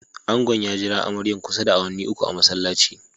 Angon ya jira amaryan kusa da awanni uku a'masallaci.